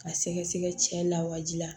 Ka sɛgɛsɛgɛ cɛ lawaji la